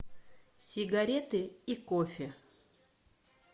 сигареты и кофе